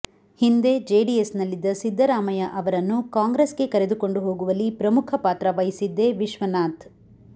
ಹಿಂದೆ ಜೆಡಿಎಸ್ನಲ್ಲಿದ್ದ ಸಿದ್ದರಾಮಯ್ಯ ಅವರನ್ನು ಕಾಂಗ್ರೆಸ್ಗೆ ಕರೆದುಕೊಂಡು ಹೋಗುವಲ್ಲಿ ಪ್ರಮುಖ ಪಾತ್ರ ವಹಿಸಿದ್ದೇ ವಿಶ್ವನಾಥ್